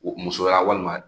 Musoya walima